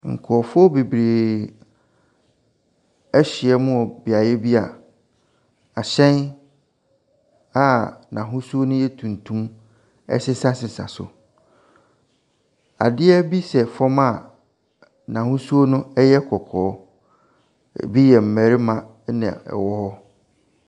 Nkurɔfoɔ bebree ahyiam wɔ beaeɛ bi a ahyɛn a n'ahosuo no yɛ tuntum sesasesa so. Adeɛ bi sɛ fam a n'ahosuo no yɛ kɔkɔɔ. Ebi yɛ mmarima na wɔwɔ hɔ.